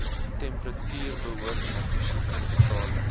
temperature behoort muggiegetalle